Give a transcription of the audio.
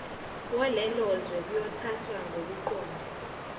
walelozwe kuyothathwa ngokuqonde